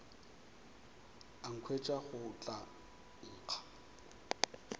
a nkhwetša go tla nkga